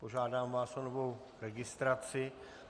Požádám vás o novou registraci.